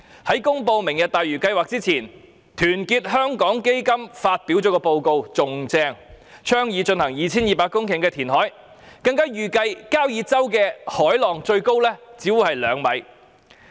在"明日大嶼"計劃公布前，團結香港基金發表的報告更厲害，它倡議進行 2,200 公頃填海，更預計交椅洲的海浪最高只是兩米。